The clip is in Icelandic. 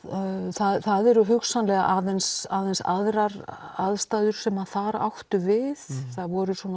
það eru hugsanlega aðeins aðeins aðrar aðstæður sem þar áttu við það voru